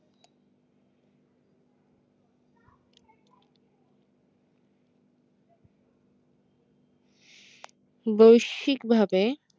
বৈশ্বিকভাবে